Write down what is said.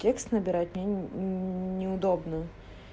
текст набирать неудобно